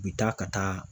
U bi taa ka taa